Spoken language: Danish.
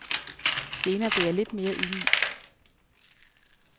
Senere blev jeg lidt mere ydmyg.